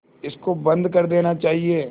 इसको बंद कर देना चाहिए